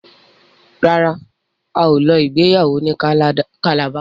ràrá ào ló ìgbéyàwó ní Calabar.